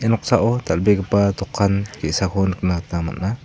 ia noksao dal·begipa dokan ge·sako nikna gita man·a.